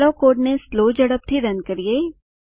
ચાલો કોડને સ્લો ઝડપથી રન કરીએ